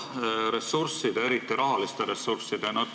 Küsin ressursside, eriti rahaliste ressursside kohta.